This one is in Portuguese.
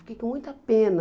Fiquei com muita pena.